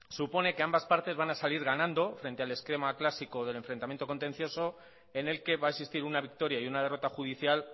supone que ambas partes van a salir ganando frente al esquema clásico del enfrentamiento contencioso en el que va a existir una victoria y una derrota judicial